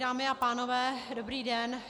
Dámy a pánové, dobrý den.